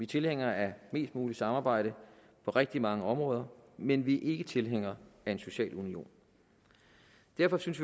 tilhængere af mest muligt samarbejde på rigtig mange områder men vi er ikke tilhængere af en social union derfor synes